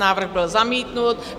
Návrh byl zamítnut.